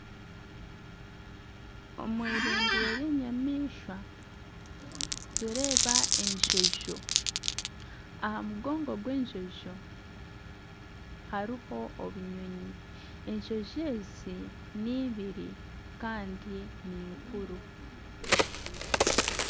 Omu irindiro ry'enyamaishwa nitureeba enjojo aha mugongo gw'enjojo hariho obunyonyi enjojo ezi n'eibiri Kandi ninkuru.